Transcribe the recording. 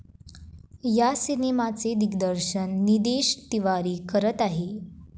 या सिनेमाचे दिग्दर्शन निदेश तिवारी करत आहेत.